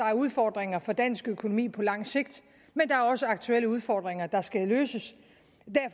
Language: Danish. er udfordringer for dansk økonomi på lang sigt men der er også aktuelle udfordringer der skal løses